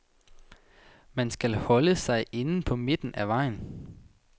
Man skal holde sig inde på midten af vejen.